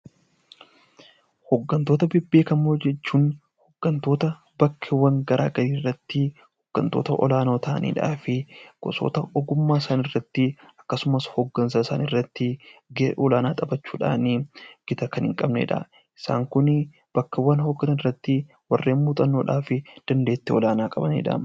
Hooggantoota beekamoo jechuun hooggantoota bakkeewwan garaagaraa irratti hooggantoota olaanoo ta'an irratti gosoota ogummaa isaan irratti gahee olaanaa taphachuudhaan bakka hoogganan irratti warreen muuxannoo fi dandeettii olaanaa qabanidha.